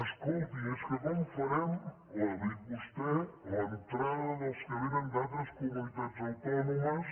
escoltin és que com farem ho ha dit vostè l’entrada dels que vénen d’altres comunitats autònomes